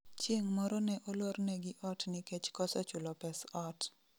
Chieng' moro ne olornegi ot nikech koso chulo pes ot